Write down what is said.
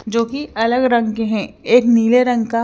जो की अलग रंग है एक नीले रंग का --